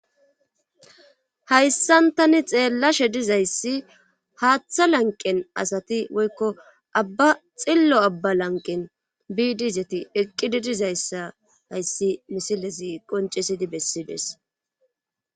Hayssan tani xeellashe dizayssi haaththa lanqen asati woykko abba xillo abba lanqen biidizeti eqqidi dizayssa hayssi misilezi qoncisidi bessidees